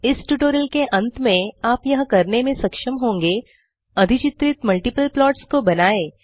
इस ट्यूटोरियल के अंत में आप यह करने में सक्षम होंगे अधिचित्रित मल्टिपल प्लॉट्स को बनाएँ